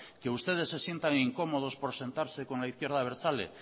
que ustedes se sientan incómodos por sentarse con la izquierda abertzale